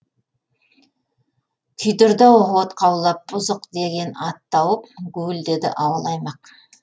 күйдірді ау от қаулап бұзық деген ат тауып гуілдеді ауыл аймақ